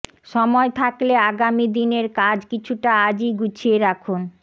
সময় থাকলে আগামী দিনের কাজ কিছুটা আজই গুছিয়ে রাখুন